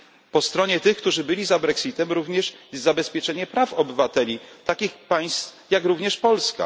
Po stronie tych, którzy byli za Brexitem, jest również zabezpieczenie praw obywateli takich państw jak również Polska.